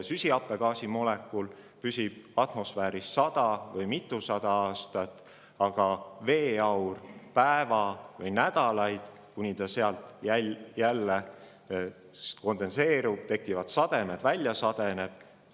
Süsihappegaasi molekul püsib atmosfääris sada või mitusada aastat, aga veeaur päeva või nädalaid, kuni ta sealt kondenseerub ‒ tekivad sademed ‒ ja välja sadeneb.